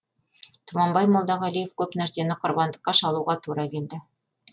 тұманбай молдағалиев көп нәрсені құрбандыққа шалуға тура келді